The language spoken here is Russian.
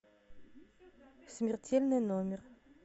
смертельный номер